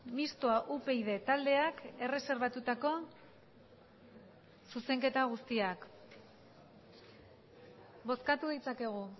mistoa upyd taldeak erreserbatutako zuzenketa guztiak bozkatu ditzakegu